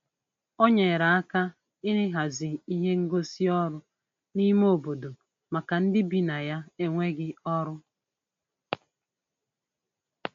O nyere aka n'ịhazi ihe ngosị ọrụ n'ime obodo maka ndị bi na ya n'enweghị ọrụ.